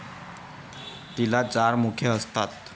तिला चार मुखे असतात.